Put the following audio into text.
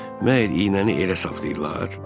Məgər iynəni elə saplayırlar?